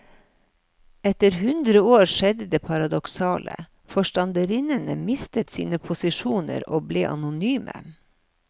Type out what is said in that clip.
Etter hundre år skjedde det paradoksale, forstanderinnene mistet sine posisjoner og ble anonyme.